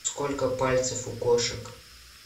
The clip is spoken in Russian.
сколько пальцев у кошек